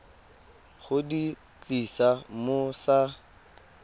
go di tlisa mo sa